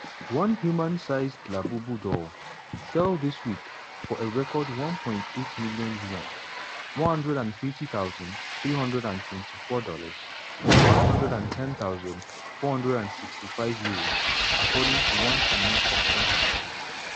one human-sized labubu doll sell dis week for a record 1.08m yuan ($150324; £110465) according to one chinese auction house.